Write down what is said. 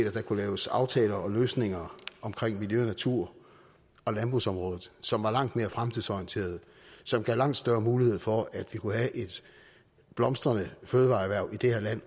at der kunne laves aftaler og løsninger på miljø natur og landbrugsområdet som var langt mere fremtidsorienterede som gav langt større mulighed for at vi kunne have et blomstrende fødevareerhverv i det her land